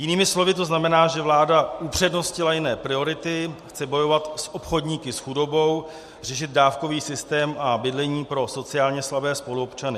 Jinými slovy to znamená, že vláda upřednostnila jiné priority, chce bojovat s obchodníky s chudobou, řešit dávkový systém a bydlení pro sociálně slabé spoluobčany.